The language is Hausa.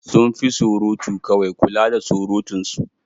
Sun fi surutu kawai, kula da surutunsu.